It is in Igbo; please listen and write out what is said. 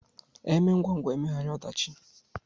E mee ngwangwa emeghara ọdachi